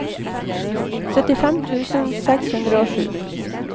syttifem tusen seks hundre og sju